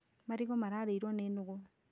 Marigũ mararĩirwo nĩ nũgũ